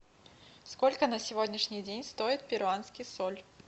сколько на сегодняшний день стоит перуанский соль